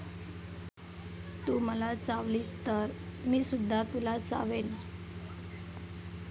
तू मला चावलीस तर मीसुद्धा तुला चावेन.